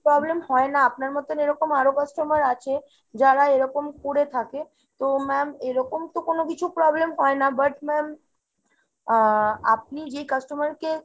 problem হয় না। আপনার মতো এরকম আরো customer আছে, যারা এরকম করে থাকে। তো ma'am এরকম তো কোনো কিছু problem হয় না, but ma'am আহ আপনি যে customer কে